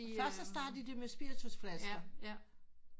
Først startede de med spiritusflasker